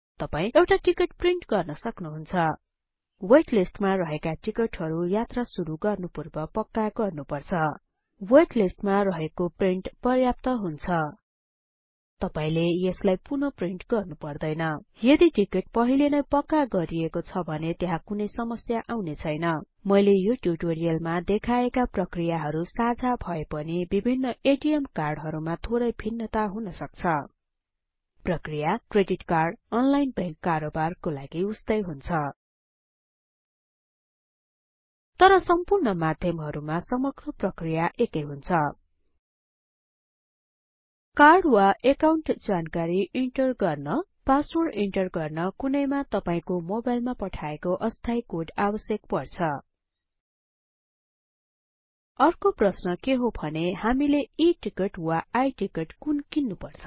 तपाई एउटा ticket print गर्न सक्नुहुन्छ वेट लिस्टमा रहेका टिकटहरु यात्रा सुरु गर्नुपूर्व पक्का गर्नुपर्छ वेट लिस्टमा रहेको प्रिन्ट पर्याप्त हुन्छ तपाईले यसलाई पुन प्रिन्ट गर्नुपर्दैन यदि टिकट पहिले नै पक्का गरिएको छ भने त्यहाँ कुनै समस्या आउने छैन मैले यो ट्युटोरियलमा देखाएका प्रक्रियाहरु साझा भएपनि बिभिन्न एटीएम कार्डहरुमा थोरै भिन्नता हुन सक्छ प्रक्रिया क्रेडिट कार्डअनलाइन बैंक कारोबार को लागि उस्तै हुन्छ तर सम्पूर्ण माध्यमहरुमा समग्र प्रक्रिया एकै हुन्छ कार्ड वा एकाउन्ट जानकारी इन्टर गर्न पासवर्ड इन्टर गर्न कुनैमा तपाईको मोबाइलमा पठाएको अस्थायी कोड आवश्यक पर्छ अर्को प्रश्न के हो भने हामीले E टिकट वा I टिकट कुन किन्नुपर्छ